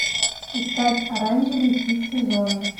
искать оранжевый хит сезона